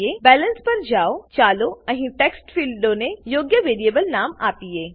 balance balance પર જાવ ચાલો અહીં આ ટેક્સ્ટ ફીલ્ડોને યોગ્ય વેરીએબલ નામ આપીએ